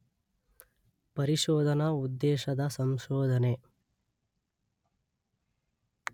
ಪರಿಶೋಧನಾ ಉದ್ದೇಶದ ಸಂಶೋಧನೆ